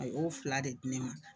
O o fila de di ne ma.